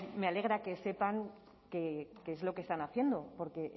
me alegra que sepan qué es lo que están haciendo porque